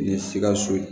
Ni ye sikaso ye